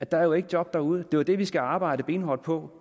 der er jo ikke job derude det er det vi skal arbejde benhårdt på